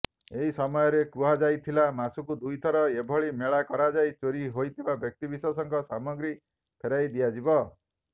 ଏହି ସମୟରେ କୁହାଯାଇଥିଲା ମାସକୁ ଦୁଇଥର ଏଭଳି ମେଳା କରାଯାଇ ଚୋରି ହୋଇଥିବା ବ୍ୟକ୍ତିବିଶେଷଙ୍କ ସାମଗ୍ରୀ ଫେରାଇ ଦିଆଯିବ